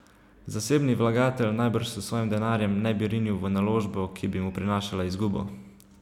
Zasebni vlagatelj najbrž s svojim denarjem ne bi rinil v naložbo, ki bi mu prinašala izgubo.